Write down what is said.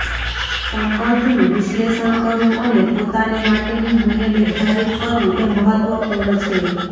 સંબંધનું વિશ્લેષણ કરવું અને પોતાને માટેનું મૂલ્ય નિર્ધારિત કરવું એ મહત્વપૂર્ણ છે